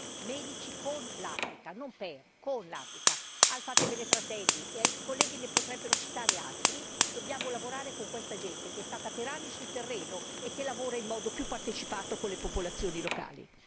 Io ne conosco nel mio paese penso al Cuam medici con l'Africa, non per l'Africa bensì con l'Africa al Fatebenefratelli e i colleghi ne potrebbero citare altri. Dobbiamo lavorare con questa gente, che è stata per anni sul terreno e che lavora in modo più partecipato con le popolazioni locali.